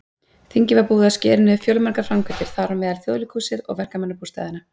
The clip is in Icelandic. Þingið var búið að skera niður fjölmargar framkvæmdir, þar á meðal Þjóðleikhúsið og verkamannabústaðina.